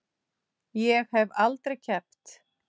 Ég hef aldrei keppt.